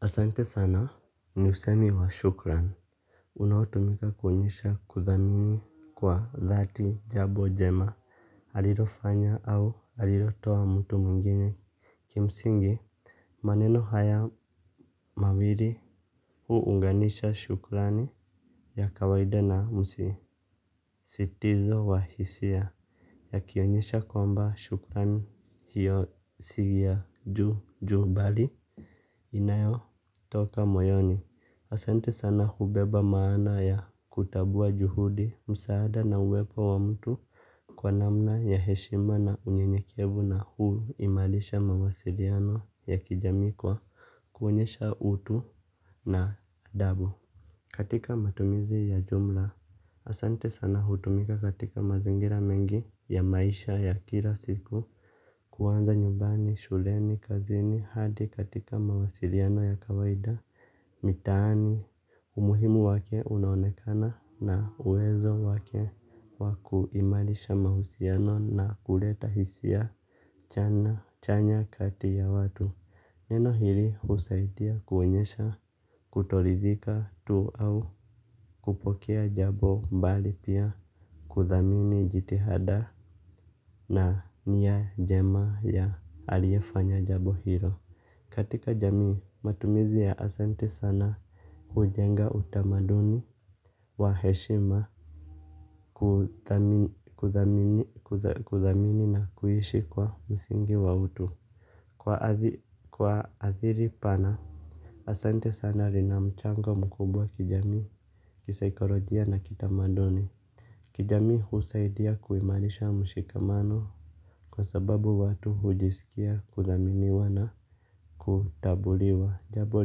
Asante sana ni usemi wa shukrani. Unaotumika kuonyesha kuthamini kwa dhati jambo jema allrofanya au alilo toa mtu mwingine. Kimsingi maneno haya mawili huunganisha shukrani ya kawaida na msisitizo wahisia akionyesha kwamba shukrani hiyo siya juu juu bali inayo toka moyoni. Asante sana hubeba maana ya kutambua juhudi, msaada na uwepo wa mtu. Kwa namna ya heshima na unyenyekevu na huimarisha mawasiliano ya kijamii kwa kuonyesha utu na adabu. Katika matumizi ya jumla asante sana hutumika katika mazingira mengi ya maisha ya kila siku. Kwanza nyumbani, shuleni, kazini hadi katika mawasiliano ya kawaida mitaani umuhimu wake unonekana na uwezo wake wakuimarisha mahusiano na kule ta hisia chanya kati ya watu. Neno hili husaidia kuonyesha kutoridhika tu au kupokea jambo bali pia kuthamini jitihada na nia njema ya aliefanya jambo hilo. Katika jamii, matumizi ya asante sana hujenga utamaduni wa heshima kuthamini na kuishi kwa msingi wa utu. Kwa ajili pana, asante sana linamchanga mkubwa kijami kisaikolojia na kitamaduni. Kijamii husaidia kuimarisha mshikamano kwa sababu watu hujisikia kuthaminiwa na kutambuliwa. Jambo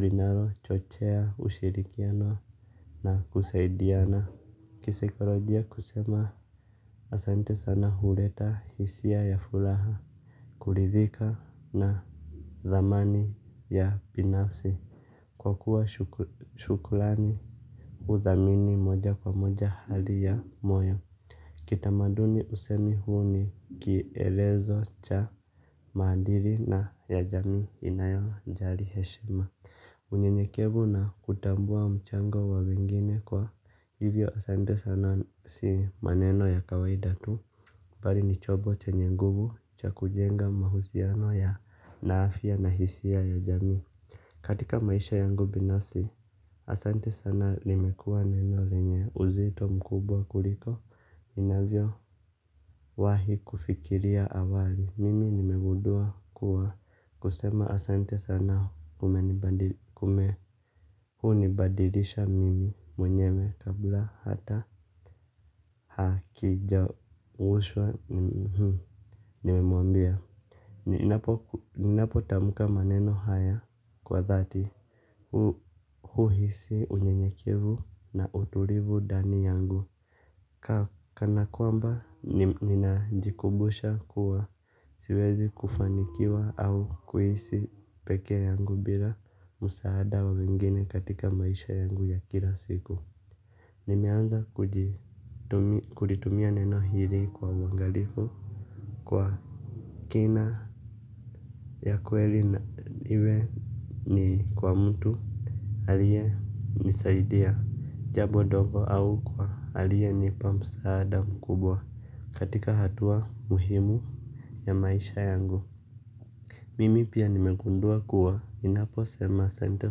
linalo chochea ushirikiano na kusaidiana. Kisaikolojia kusema asante sana huleta hisia ya furaha. Kuridhika na thamani ya binafsi. Kwa kuwa shukurani huthamini moja kwa moja hali ya moyo. Kitamaduni usemi huu ni kielelezo cha maadiri na jamii inayo jali heshima unye nyekevu na kutambua mchango wa wengine kwa hivyo asante sana si maneno ya kawaida tu. Bali ni chombo chenye nguvu cha kujenga mahusiano yenye afya na hisia ya jamii. Katika maisha yangu binafsi, asante sana limekua neno lenye uzito mkubwa kuliko inavyo wahi kufikiria awali. Mimi nimegundua kuwa kusema asante sana kumenibadilisha mimi mwenyewe kabla hata hakijawushwa nimemwambia. Ninapo tamka maneno haya kwa dhati huhisi unyenyekevu na utulivu ndani yangu. Kana kwamba ninajikumbusha kuwa siwezi kufanikiwa au kuishi peke yangu bila msaada wa wengine katika maisha yangu ya kila siku. Nimeanza kulitumia neno hili kwa uangalifu kwa kina ya kweli iwe ni kwa mtu alie nisaidia jambo dogo au kwa alie nipa msaada mkubwa katika hatua muhimu ya maisha yangu. Mimi pia nimegundua kuwa ninapo sema asante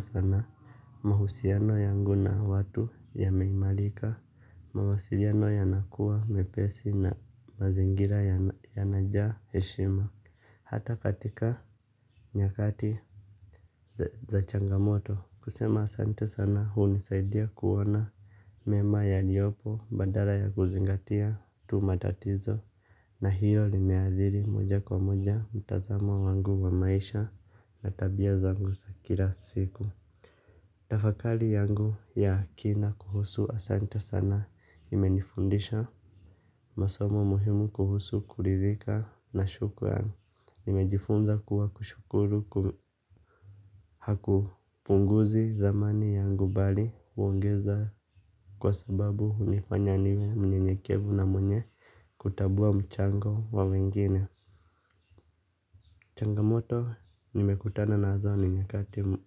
sana mahusiano yangu na watu ya meimarika mawasiliano yanakuwa mepesi na mazingira yanajaa heshima. Hata katika nyakati za changamoto, kusema asante sana hunisaidia kuona mema yaliyopo badala ya kuzingatia tu matatizo na hilo limeathiri moja kwa moja mtazamo wangu wa maisha na tabia zangu za kila siku. Tafakari yangu ya kina kuhusu asante sana imenifundisha masomo muhimu kuhusu kuridhika na shukurani. Nimejifunza kuwa kushukuru hakupunguzi thamani yangu bali huongeza. Kwa sababu hunifanya niwe mnyenyekevu na mwenye kutambua mchango wa wengine. Changamoto nimekutanazo ni nyakati mu.